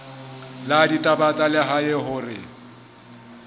la ditaba tsa lehae hore